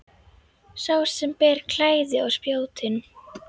Sá sem ber klæði á spjótin.